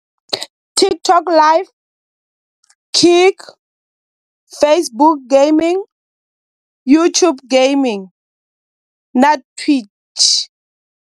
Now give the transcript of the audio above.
TikTok live, Kik, Facebook Gaming, YouTube Gaming na Twitch.